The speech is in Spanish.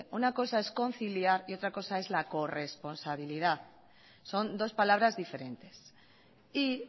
una cosa es conciliar y otra cosa es la corresponsabilidad son dos palabras diferentes y